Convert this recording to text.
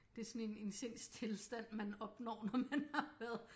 Det er sådan en en sindstilstand man opnår når man har været